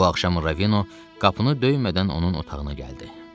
Bu axşam Ravino qapını döymədən onun otağına gəldi.